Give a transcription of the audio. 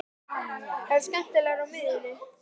Er það skemmtilegra en á miðjunni?